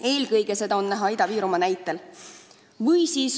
Eelkõige on seda näha Ida-Virumaal.